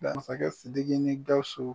Masakɛ Sidiki ni Gawusu